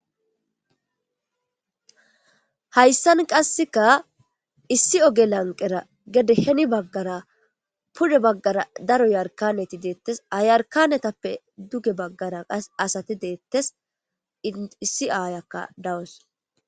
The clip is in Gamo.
Haysan qaseka issi oge lanqera gede heni bagara pude bagara daro yarkaneti detes ha yarkanetape duge bagara qase asati betes issi ayiyaka dawus.